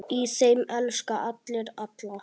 Í þeim elska allir alla.